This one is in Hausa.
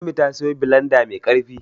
Ummi ta siyo bilanda mai ƙarfi.